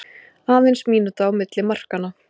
Aðeins mínúta á milli markanna